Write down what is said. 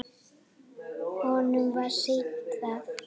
Honum var sýnt það.